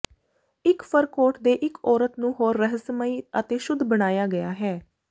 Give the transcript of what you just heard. ਇੱਕ fur coat ਦੇ ਇੱਕ ਔਰਤ ਨੂੰ ਹੋਰ ਰਹੱਸਮਈ ਅਤੇ ਸ਼ੁੱਧ ਬਣਾਇਆ ਗਿਆ ਹੈ